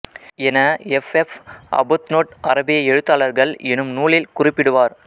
என F F Arbuthnot அரபிய எழுத்தாளர்கள் எனும் நூலில் குறிப்பிடுவார்